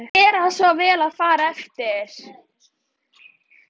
GERA SVO VEL AÐ FARA EFTIR